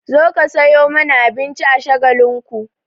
Zo ka sayo mana abinci a Shagalinku!